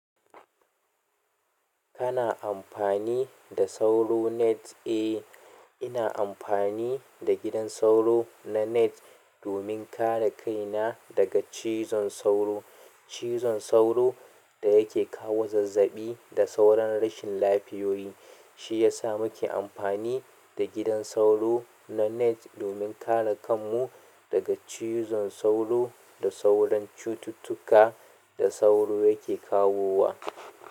Kana amfani da sauro net? Eh, ina amfani da gidan sauro na net domin kare kaina daga cizon sauro. Cizon sauro da yake kawo zazzaɓi da sauran rashin lafiyoyi, shi ya sa muke amfani da gidan sauro na net domin kare kanmu daga cizon sauro da sauran cututtuka da sauro yake kawowa.